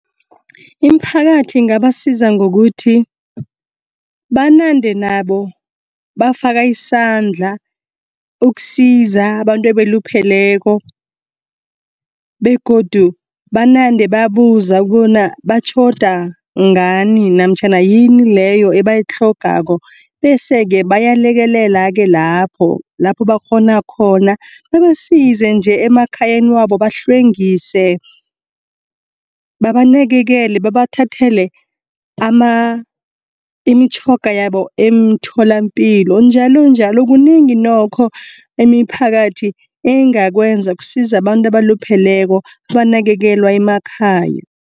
Iimphakathi ingabasiza ngokuthi, banande nabo bafaka isandla ukusiza abantu abalupheleko begodu banande babuza bona batjhoda ngani namtjhana yini leyo ebayitlhogako. Bese-ke bayalekelela-ke lapho, lapho bakghona khona. Babasize nje emkhayeni wabo bahlwengise, babanakelele babathathele imitjhoga yabo emtholampilo njalonjalo. Kunengi nokho imiphakathi engakwenza kusiza abantu abalupheleko abanakekelwa emakhaya.